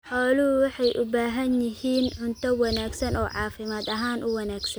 Xooluhu waxay u baahan yihiin cunto wanaagsan oo caafimaad ahaan u wanaagsan.